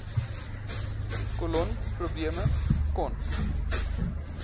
kolon probleme crohn